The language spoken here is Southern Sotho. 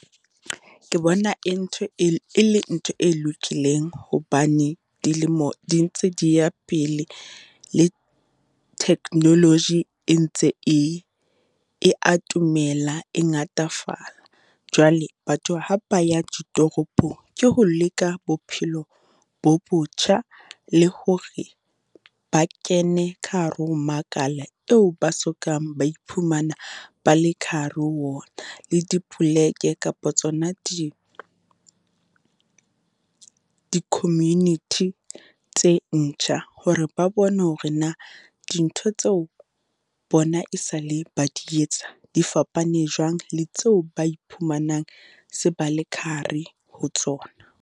Ke bona e ntho, e le ntho e lokileng hobane dilemo di ntse di ya pele le technology e ntse e e atomela e ngatafala. Jwale batho ha ba ya ditoropong, ke ho leka bophelo bo botjha le hore ba kene ka hare ho makala eo ba so kang ba iphumana ba le ka hare ho ona. Le dipoleke kapa tsona di di-community tse ntjha hore ba bone hore na, dintho tseo bona e sa le ba di etsa di fapane jwang le tseo ba iphumanang se ba le ka hare ho tsona.